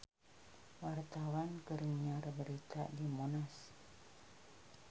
Wartawan keur nyiar berita di Monas